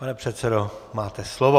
Pane předsedo, máte slovo.